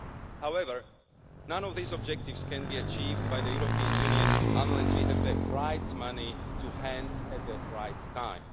However, none of these objectives can be achieved by the European Union unless we have the right money to hand at the right time.